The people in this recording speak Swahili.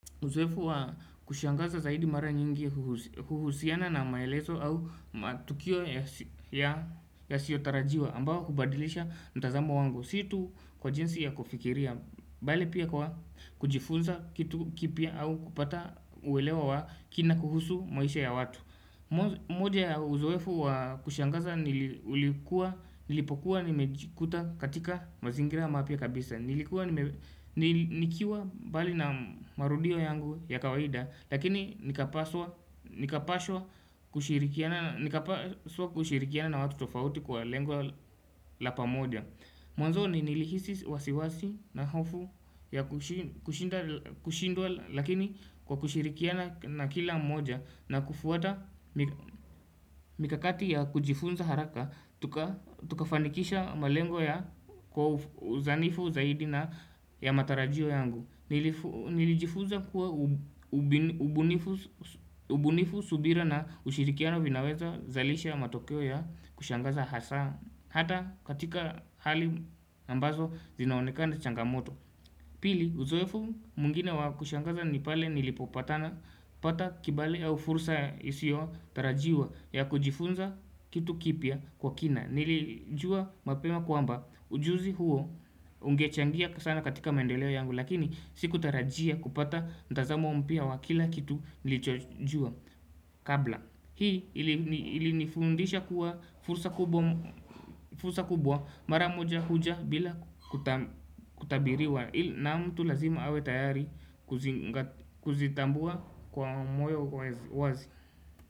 Uzoefu wa kushangaza zaidi mara nyingi uhusiana na maelezo au matukio yasiotarajiwa ambao hubadilisha mtazamu wangu Si tu kwa jinsi ya kufikiria, bali pia kwa kujifunza kitu kipya au kupata uelewa wa kina kuhusu maisha ya watu moja ya uzoefu wa kushangaza nilipokuwa nimejikuta katika mazingira mapya kabisa Nilikuwa nikiwa mbali na marudio yangu ya kawaida Lakini nikapaswa kushirikiana na watu tofauti kwa lengo la pamoja Mwanzo ni nilihisi wasiwasi na hofu ya kushindwa Lakini kwa kushirikiana na kila mmoja na kufuata mikakati ya kujifunza haraka Tukafanikisha malengo ya uzanifu zaidi na ya matarajio yangu Nilijifunza kuwa ubunifu subira na ushirikiano vinawezazalisha ya matokyo ya kushangaza hasa Hata katika hali ambazo zinaonekana changamoto Pili uzoefu mwingine wa kushangaza ni pale nilipopatana pata kibali au fursa isiotarajiwa ya kujifunza kitu kipya kwa kina Nilijua mapema kwamba ujuzi huo ungechangia sana katika maendeleo yangu Lakini sikutarajia kupata mtazamo mpya wa kila kitu nilijojua kabla Hii ilinifundisha kuwa fursa kubwa mara moja huja bila kutabiriwa na mtu lazima awe tayari kuzitambua kwa moyo wazi.